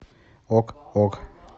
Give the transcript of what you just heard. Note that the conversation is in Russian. ок ок